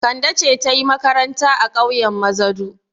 Kande ce ta yi makaranta a ƙauyen Mazadu.